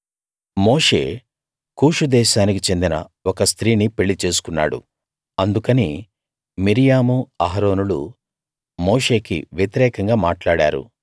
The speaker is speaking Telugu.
మోషే కూషు దేశానికి చెందిన ఒక స్త్రీని పెళ్ళి చేసుకున్నాడు అందుకని మిర్యాము అహరోనులు మోషేకి వ్యతిరేకంగా మాట్లాడారు